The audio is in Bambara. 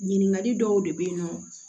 Ɲininkali dɔw de bɛ ye nɔ